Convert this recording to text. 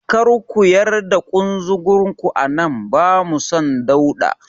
Kar ku yar da ƙunzugun ku a nan, bamu son dauɗa.